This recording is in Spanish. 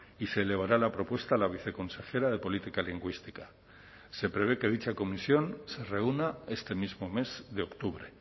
y se elevará la propuesta la viceconsejera de política lingüística se prevé que dicha comisión se reúna este mismo mes de octubre